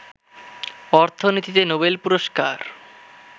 অর্থনীতিতে নোবেল পুরস্কার